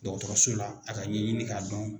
Dɔgɔtɔrɔso la a ka ɲɛɲini k'a dɔn.